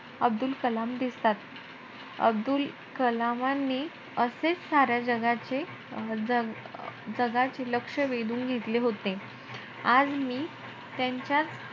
अब्दुल कलाम दिसतात. अब्दुल कलामांनी असेचं साऱ्या जगाचे अं जगाचे लक्ष वेधून घेतले होते. आज मी त्यांच्याचं,